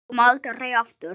Koma aldrei aftur.